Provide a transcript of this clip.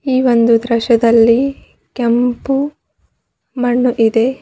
ಈ ಒಂದು ದೃಶ್ಯದಲ್ಲಿ ಕೆಂಪು ಮಣ್ಣು ಇದೆ.